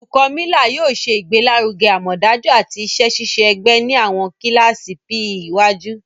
Olukọni Miller yóò ṣe igbelaruge amọdaju ati iṣẹ-ṣiṣe ẹgbẹ ni awọn kilasi PE iwaju.